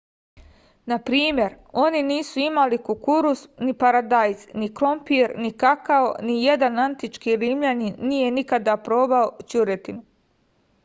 na primer oni nisu imali kukuruz ni paradajz ni krompir ni kakao a nijedan antički rimljanin nije nikada probao ćuretinu